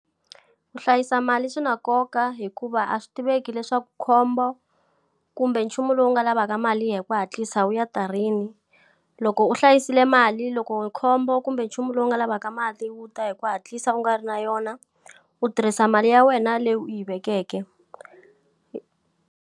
Ku hlayisa mali swi na nkoka hikuva a swi tiveki leswaku khombo kumbe nchumu lowu nga lavaka mali hi ku hatlisa u ya ta rini. Loko u hlayisile mali loko khombo kumbe nchumu lowu nga lavaka mali wu ta hi ku hatlisa u nga ri na yona, u tirhisa mali ya wena leyi u yi vekeke.